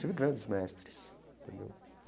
Tive grandes mestres entendeu.